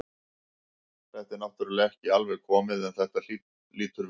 Þetta er náttúrulega ekki alveg komið en þetta lýtur vel út.